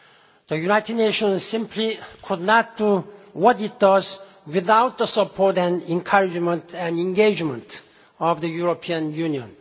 The United Nations simply could not do what it does without the support, encouragement and engagement of the European Union.